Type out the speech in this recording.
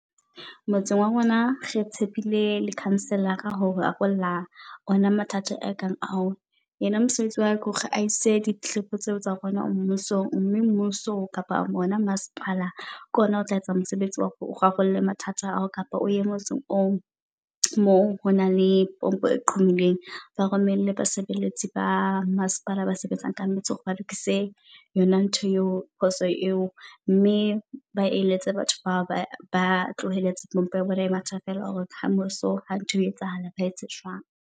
Motseng wa rona re tshepile le councilor-ra ho rarolla ona mathata a kang ao. Yena mosebetsi wa hae ke hore a ise ditletlebi tseo tsa rona mmusong, mme mmuso kapa bona masepala ke ona o tla etsa mosebetsi wa hore o rarolle mathata ao kapa oye motseng oo. Mo honang le pompo e qhumileeng. Ba romelle basebeletsi ba masepala ba sebetsang ka metsi hore ba lokise yona ntho eo. Phoso eo mme ba eletse batho bao ba tlohelletseng pompo ya bona e matha feela. Hore kamoso ha ntho e etsahala, ba etse jwang.